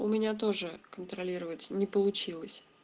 у меня тоже контролировать не получилось